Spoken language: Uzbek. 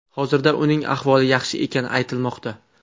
Hozirda uning ahvoli yaxshi ekani aytilmoqda.